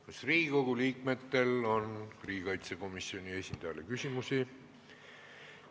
Kas Riigikogu liikmetel on riigikaitsekomisjoni esindajale küsimusi?